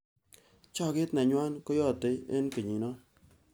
Choket nenywa keyatei eng kenyino.